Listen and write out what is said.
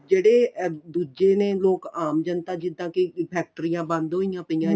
ਜਿਹੜੇ ਇਹ ਦੂਜੇ ਨੇ ਲੋਕ ਅਮ ਜਨਤਾ ਜਿੱਦਾਂ ਕੀ ਫੈਕਟਰੀਆ ਵੀ ਬੰਦ ਹੋਇਆ ਪਈਆ ਨੇ